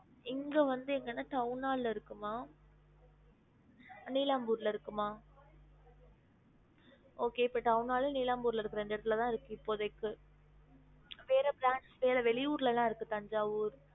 இங்க வந்து எங்கனா town hall ல இருக்குமா நீலாம்பூர் ல இருக்கு மா okay இப்ப town hall நீலாம்பூர்ல இருக்கு ரெண்டு எடத்துல தான் இருக்கு இப்போதைக்கு வேற branch வேற வெளி ஊருல தான் இருக்கு தஞ்சாவூர்